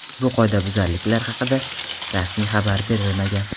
Bu qoidabuzarlik haqida rasmiy xabar berilmagan.